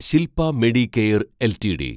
Shilpa Medicare LTD